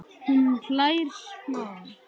Hún hlær smá.